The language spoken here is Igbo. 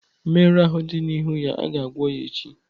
Mmerụ ahụ dị n'ihu ya ga-agwọ ya n'echi.